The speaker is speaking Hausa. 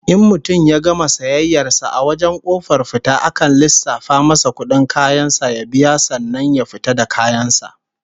In mutum ya gama sayayyar sa a wajen kofar fita akan lissafa masa kudin kayan sa ya biya sannan ya fita da kayan sa